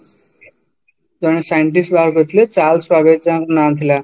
ଜଣେ scientist ବାହାର କରିଥିଲେ charles babbage ତାଙ୍କ ନା ଥିଲା